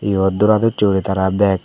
yot doradosse guri tara bak.